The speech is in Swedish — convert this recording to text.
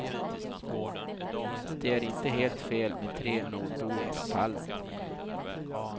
Det är inte helt fel med tre nordbor på pallen.